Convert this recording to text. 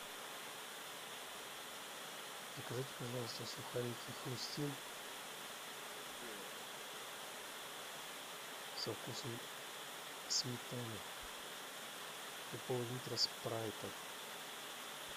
закажите пожалуйста сухарики хрустим со вкусом сметаны и поллитра спрайта